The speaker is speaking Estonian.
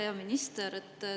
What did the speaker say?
Hea minister!